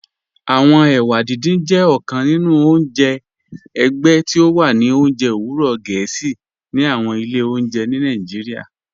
Awọn èwà dídìn jẹ ọ̀kàn nínu ọ̀njẹ ẹ̀gbẹ̀ tí o wà ní ọ̀njẹ̀ owurọ̀ Gẹẹsi ní àwọn ilẹ̀ ọ̀njẹ̀ ní Nàìjíríà.